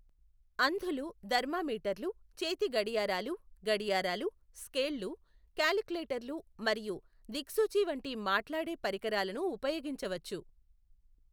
అంధులు థర్మామీటర్లు, చేతి గడియారాలు, గడియారాలు, స్కేళ్ళు, కాలిక్యులేటర్లు మరియు దిక్సూచి వంటి మాట్లాడే పరికరాలను ఉపయోగించవచ్చు.